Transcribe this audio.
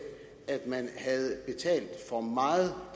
at man havde betalt for meget